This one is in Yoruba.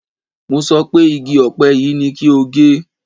Mo sọ pé igi ọ̀pẹ yìí ni kí o gé!